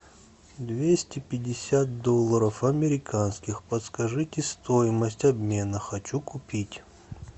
двести пятьдесят долларов американских подскажите стоимость обмена хочу купить